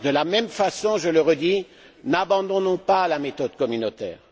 De la même façon, je le redis, n'abandonnons pas la méthode communautaire.